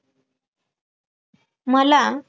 मला